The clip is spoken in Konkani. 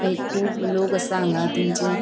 एक खुब लोग आसा हान्गा तिनचे.